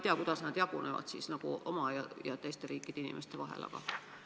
Ma küll ei tea, kuidas nad oma ja teiste riikide inimeste vahel jagunevad.